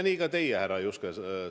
Nii ka teie omadel, härra Juske.